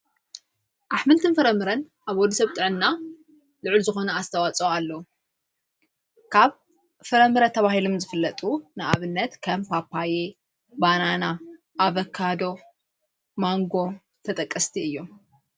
ኣኅምልትን ፍረምረን ኣብ ወዱ ሰብጠና ልዕል ዝኾነ ኣስተዋጸው ኣለዉ ካብ ፍረምረ ተብሂሎም ዝፍለጡ ንኣብነት ከምፋጳየ ባናና ኣበካዶ ማንጎ ተጠቀስቲ እዮም::